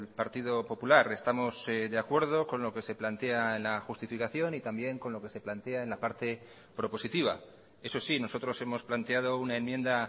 partido popular estamos de acuerdo con lo que se plantea en la justificación y también con lo que se plantea en la parte propositiva eso sí nosotros hemos planteado una enmienda